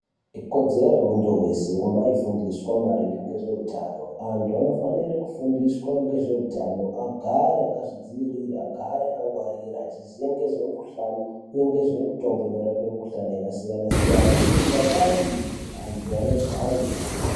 Ikodzero yemuntu weshe kumbaifundiswe maringe ngezveutano. Antu anofanire kufundiswa ngezveutano agare akazvidziirira, agare akangwarira achiziya nezvemikhuhlani uye ngezvemitombo inorape mukhuhlani yakasiyana -siyana. Tikadai izvi antu anogare.